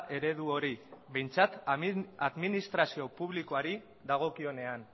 eredu hori behintzat administrazio publikoari dagokionean